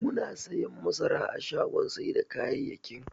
Muna siyan masara a shagon sai da kayayyakin.